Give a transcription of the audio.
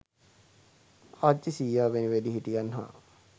ආච්චී සීයා වැනි වැඩිහිටියන් හා